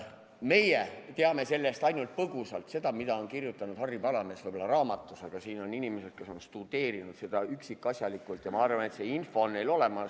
Meie teame ainult põgusalt seda, mida on kirjutanud Hillar Palamets oma raamatus, aga siin on inimesi, kes on ajalugu üksikasjalikult tudeerinud, ja ma arvan, et see info on neil olemas.